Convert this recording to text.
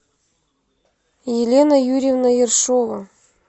елена юрьевна ершова